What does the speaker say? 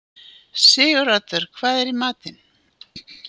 Siguroddur, hvað er í matinn?